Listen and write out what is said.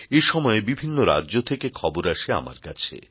এ সময়ে বিভিন্ন রাজ্য থেকে খবর আসে আমার কাছে